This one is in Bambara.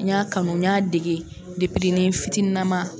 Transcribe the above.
N y'a kanu n y'a dege depinin ni n fitininama.